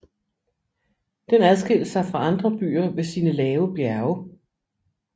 Den adskilte sig fra andre byer ved sine lave bjerge